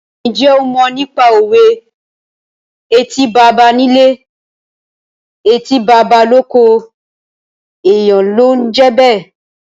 Ǹjẹ́ o mọ nípa òwe "Etí baba nílé, etí baba lóko, èèyàn ló ń jẹ́ bẹ́ẹ̀?"